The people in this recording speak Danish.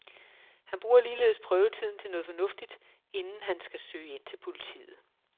Han bruger ligeledes prøvetiden til noget fornuftigt, inden han kan søge ind til politiet.